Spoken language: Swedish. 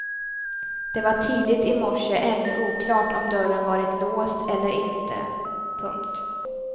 Det var tidigt i morse ännu oklart om dörren varit låst eller inte. punkt